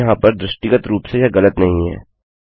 अब यहाँ पर दृष्टिगत रूप से यह गलत नहीं है